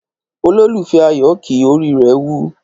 ololufẹ ayo kí, orí rè wù